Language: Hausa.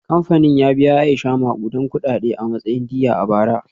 Kamfanin ya biya Aisha makudan kudade a matsayin diyya a bara.